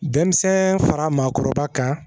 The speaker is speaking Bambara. Denmisɛn fara maakɔrɔba kan